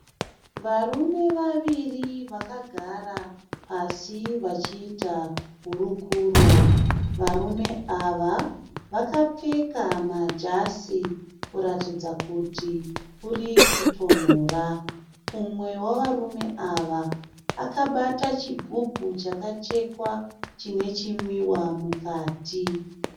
Varume vaviri vakagara pasi vachiita hurukuro. Varume ava vakapfeka majasi kuratidza kuti kuri kutonhora. Umwe wavarume ava akabata chigubhu chaka chekwa chine chimwiwa mukati.